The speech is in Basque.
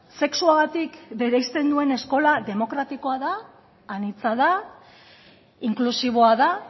sexuagatik bereizten duen eskola demokratikoa da anitza da inklusiboa da